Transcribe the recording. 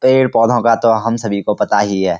पेड़-पौधों का तो हम सभी को पता ही है।